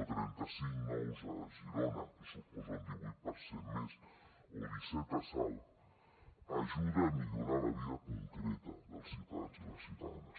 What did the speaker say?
o trenta cinc nous a girona que suposa un divuit per cent més o disset a salt ajuda a millorar la vida concreta dels ciutadans i les ciutadanes